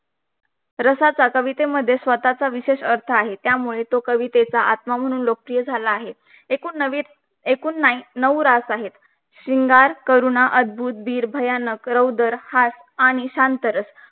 रसाचा कविते मध्ये स्वतःचा विशेष अर्थ आहे त्यामुले कवितेचा आत्मा म्हणून लोकप्रिय झाला आहे एकूण नऊ रस आहे श्रींगार करूना अद्भुत धीर हास भयानक रौदर शांतारस